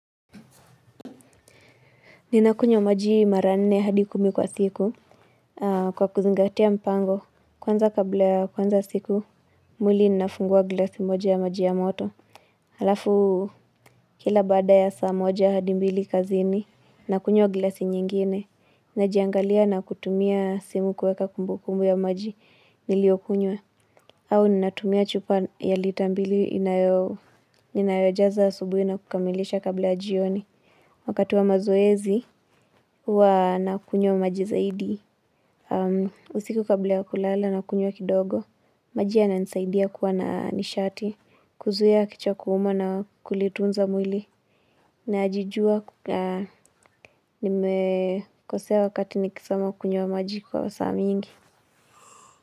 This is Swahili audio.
Ninakunywa maji mara nne hadi kumi kwa siku kwa kuzingatia mpango kwanza kabla ya kuanza siku mwili ninafungua glasi moja ya maji ya moto. Halafu kila baada ya saa moja hadi mbili kazini nakunywa glasi nyingine. Najiangalia na kutumia simu kuweka kumbukumbu ya maji niliyokunywa. Au ninatumia chupa ya lita mbili ninayojaza asubuhi na kukamilisha kabla ya jioni. Wakati wa mazoezi, huwa nakunywa maji zaidi. Usiku kabla ya kulala nakunywa kidogo. Maji yananisaidia kuwa na nishati. Kuzuia kichwa kuuma na kulitunza mwili. Najijua, nimekosea wakati nikisoma kunywa maji kwa saa mingi.